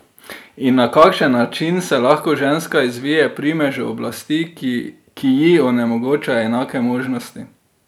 In na kakšen način se lahko ženska izvije primežu oblasti, ki ji onemogoča enake možnosti?